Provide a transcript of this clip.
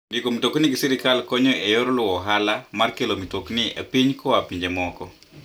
Ndiko mtokni gi sirkal konyo e yor luwo ohala mar kelo mtokni e piny koa pinje moko.